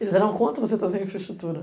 Eles eram contra você trazer infraestrutura.